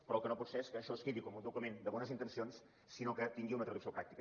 però el que no pot ser és que això es quedi com un document de bones intencions sinó que tingui una traducció pràctica